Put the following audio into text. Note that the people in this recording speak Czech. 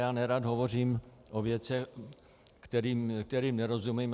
Já nerad hovořím o věcech, kterým nerozumím.